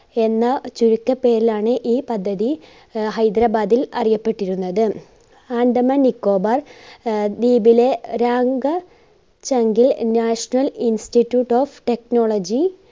എന്ന ചുരുക്ക പേരിലാണ് ഈ പദ്ധതി ആഹ് ഹൈദരാബാദിൽ അറിയപ്പെട്ടിരുന്നത് ആൻഡമാൻ നിക്കോബാർ ആഹ് ദ്വീപിലെ National Institute Of Technology